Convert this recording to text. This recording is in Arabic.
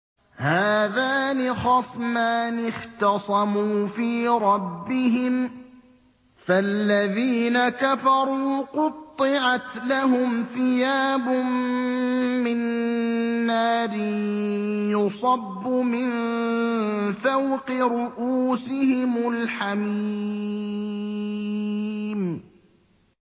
۞ هَٰذَانِ خَصْمَانِ اخْتَصَمُوا فِي رَبِّهِمْ ۖ فَالَّذِينَ كَفَرُوا قُطِّعَتْ لَهُمْ ثِيَابٌ مِّن نَّارٍ يُصَبُّ مِن فَوْقِ رُءُوسِهِمُ الْحَمِيمُ